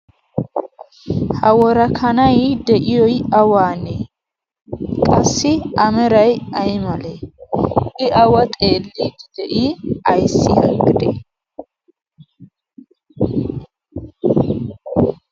ha worakanai de'iyoi awaanee qassi amerai ai malee i awa xeellii de'i ayssi aggide?